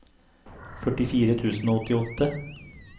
førtifire tusen og åttiåtte